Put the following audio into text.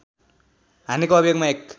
हानेको अभियोगमा एक